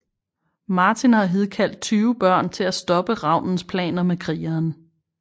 Martin har hidkaldt 20 børn til at stoppe ravnens planer med krigeren